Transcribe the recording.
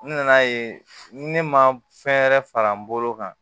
N nana ye ne ma fɛn wɛrɛ fara n bolo kan